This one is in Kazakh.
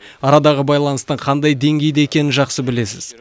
арадағы байланыстың қандай деңгейде екенін жақсы білесіз